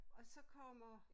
Og så kommer